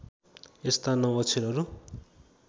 यस्ता नौ अक्षरहरू